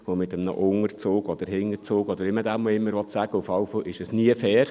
Mit einem Unterzug oder wie man dies nennen will… Jedenfalls war es nie fair.